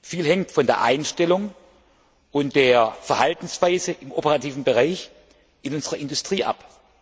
Viel hängt von der Einstellung und der Verhaltensweise im operativen Bereich in unserer Industrie ab.